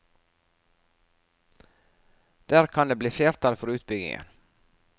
Der kan det bli flertall for utbyggingen.